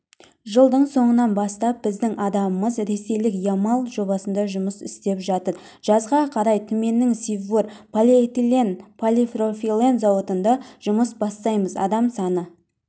жылдың соңынан бастап біздің адамымыз ресейлік ямал жобасында жұмыс істеп жатыр жазға қарай түменнің сиббур полиэтилен-полипропилен зауытында жұмыс бастаймыз адам саны